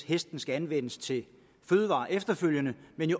hesten skal anvendes til fødevarer efterfølgende